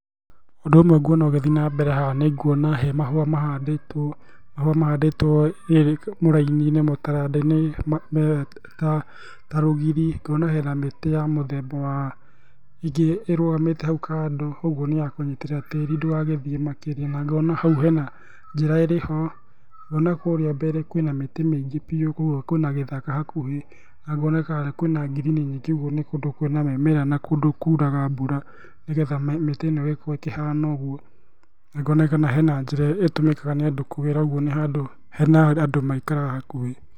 Ũndú ũmwe nguona ũgĩthiĩ nambere haha, nĩnguona he mahũa mahandĩtwo, mahũa mahandĩtwo mũraini-inĩ, mũtaranda-inĩ me ta rũgiri. Ngona hena mĩtĩ ya mũthemba wa, ingĩ irũgamĩte hau kando ũguo nĩ ya kũnyitĩrĩra tĩĩri ndũgagĩthiĩ makĩria, na ngona hau hena njĩra ĩrĩho, ngona kũũrĩa mbere kwĩna mĩtĩ mĩingĩ biu, koguo kwĩ na gĩthaka hakuhĩ, na ngona kwĩ na ngirininyingĩ ũguo nĩ kũndũ kwĩ na mĩmera na kũndũ kuraga mbura, nĩgetha mĩtĩ ĩno ĩgĩkorwo ĩkĩhana ũguo, na ngona kana he na njĩra ĩtũmĩkaga nĩ andũ kũgera, oguo nĩ handũ hena andũ maikaraga hakuhĩ.